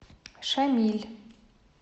шамиль